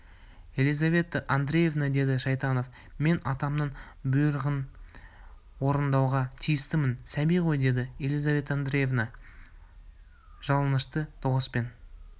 елизавета андреевна деді шайтанов мен атаманның бұйрығын орындауға тиістімін сәби ғой деді елизавета андреевна жалынышты дауыспен